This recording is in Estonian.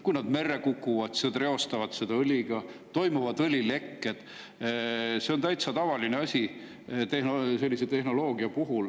Kui nad merre kukuvad, siis nad reostavad seda õliga, toimuvad õlilekked – see on täitsa tavaline asi sellise tehnoloogia puhul.